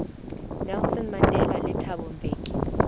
nelson mandela le thabo mbeki